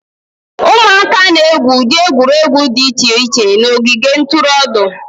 ụmụaka na-egwu ụdị egwuregwu dị iche iche na ogige ntụrụndụ